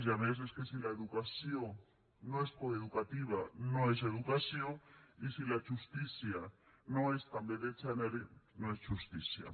i a més és que si l’educació no és coeducativa no és educació i si la justícia no és també de gènere no és justícia